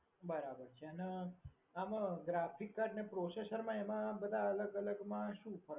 બરાબર છે અને આમાં graphic card ને processor એમાં બધા અલગ અલગમાં શું હોય છે?